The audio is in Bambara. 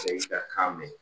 kan mɛn